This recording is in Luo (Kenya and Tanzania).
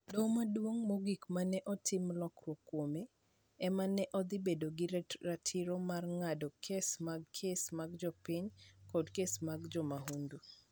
Doho Maduong' Mogik ma ne otim lokruok kuome, ema ne dhi bedo gi ratiro mar ng'ado kes mag kes mag jopiny koda kes mag jomahundu.